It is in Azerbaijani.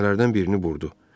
Düymələrdən birini burdu.